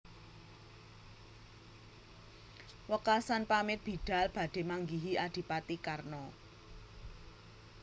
Wekasan pamit bidhal badhe manggihi adipati Karna